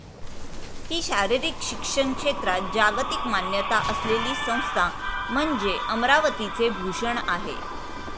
हि शारीरिक शिक्षण क्षेत्रात जागतिक मान्यता असलेली संस्था म्हणजे अमरावतीचे भूषण आहे.